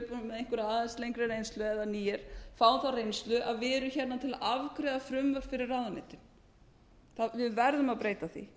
einhverja aðeins lengri reynslu eða nýir fáum þá reynslu að við erum til að afgreiða frumvörp fyrir ráðuneytið við verðum að breyta því